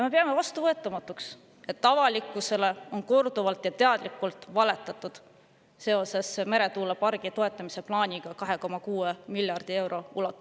Me peame vastuvõetamatuks, et avalikkusele on korduvalt ja teadlikult valetatud seoses plaaniga toetada meretuuleparki 2,6 miljardi euroga.